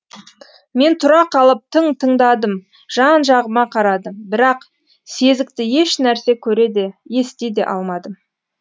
мен тұра қалып тың тыңдадым жан жағыма қарадым бірақ сезікті ешнәрсе көре де ести де алмадым